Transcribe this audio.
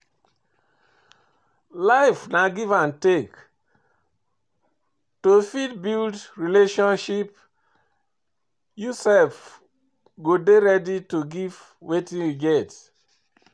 Life na give and take, to fit build relationship you sef go dey ready to give wetin you get